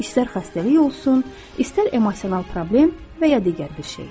İstər xəstəlik olsun, istər emosional problem və ya digər bir şey.